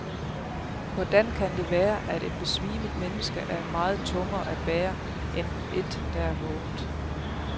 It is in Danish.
Hvordan kan det være, at et besvimet menneske er meget tungere at bære, end et der er vågent?